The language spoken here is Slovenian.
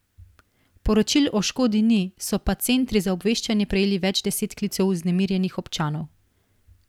Poročil o škodi ni, so pa centri za obveščanje prejeli več deset klicev vznemirjenih občanov.